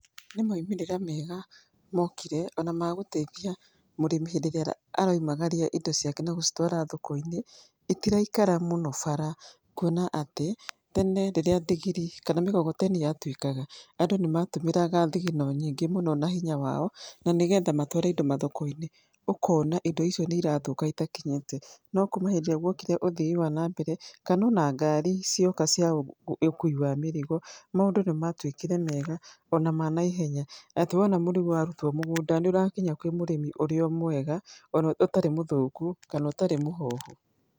Nĩ moimĩrira mega mokire ona ma gũteitia mũrĩmi hĩndĩ ĩríĩa aroimagaria indo ciake na gũcitwara thoko-inĩ, itiraikara mũno bara kuona atĩ tene rĩrĩa ndigiri kana migogoteni yatũĩkaga andũ nĩmatũmĩraga thigino nyingĩ mũno na hinya wao na nĩ getha matware indo mathoko-inĩ. Ũkona indo icio nĩ irathũka ona itakinyĩte. No kuma hĩndĩ ĩrĩa guokire ũthii wa na mbere kana ona ngari cioka cia ũkui wa mĩrigo maũndũ nĩmatuĩkire mega, ona ma naiheya. Atĩ wona mũrigo warutwo mũgũnda nĩ ũrakinya kwĩ mũrĩmi ũrio mwega, oro ũtarĩ mũthũku kana ũtarĩ mũhohu.